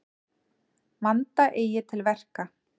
Vanda eigi til verka.